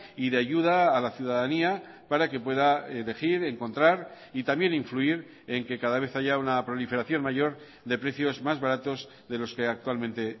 y de ayuda a la ciudadanía para que pueda elegir encontrar y también influir en que cada vez haya una proliferación mayor de precios más baratos de los que actualmente